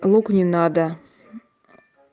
лук не надо